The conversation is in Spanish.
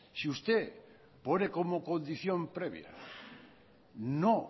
si usted pone como condición previa no